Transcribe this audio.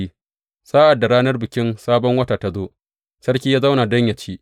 Sa’ad da ranar Bikin Sabon Wata ta zo, sarki ya zauna don yă ci.